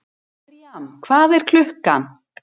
Mirjam, hvað er klukkan?